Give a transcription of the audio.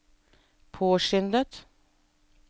påskyndet